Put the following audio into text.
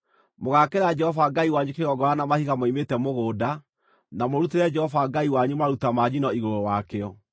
Mũgaakĩra Jehova Ngai wanyu kĩgongona na mahiga moimĩte mũgũnda, na mũrutĩre Jehova Ngai wanyu maruta ma njino igũrũ wakĩo.